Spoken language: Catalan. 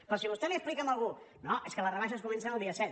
però si vostè li explica a algú no és que les rebaixes comencen el dia set